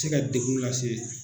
Tɛ ka degun lase